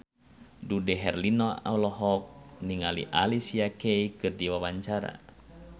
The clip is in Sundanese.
Dude Herlino olohok ningali Alicia Keys keur diwawancara